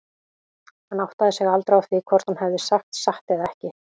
Hann áttaði sig aldrei á því hvort hún hefði sagt satt eða ekki.